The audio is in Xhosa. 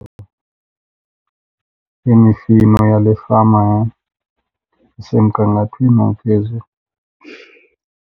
Imifino yale fama yam isemgangathweni ophezulu.